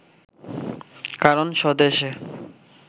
কারণ স্বদেশে